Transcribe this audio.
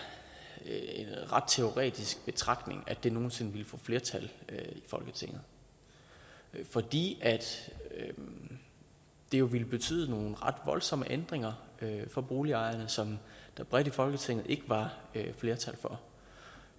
en ret teoretisk betragtning at det nogen sinde ville få flertal i folketinget fordi det jo ville betyde nogle ret voldsomme ændringer for boligejerne som der bredt i folketinget ikke var flertal for